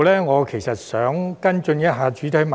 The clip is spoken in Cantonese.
我想在此跟進一下主體質詢。